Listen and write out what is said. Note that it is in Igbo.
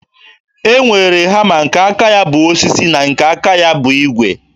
E nwere hama nke aka ya bụ osisi na nke aka ya bụ ígwè